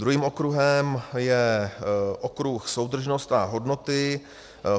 Druhým okruhem je okruh soudržnost a hodnoty.